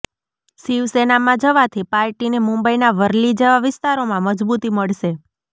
શિવસેનામાં જવાથી પાર્ટીને મુંબઈના વર્લી જેવા વિસ્તારોમાં મજબૂતી મળશે